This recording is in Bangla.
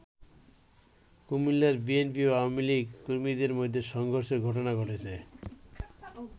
কুমিল্লায় বিএনপি ও আওয়ামী লীগ কর্মীদের মধ্যে সংঘর্ষের ঘটনা ঘটেছে।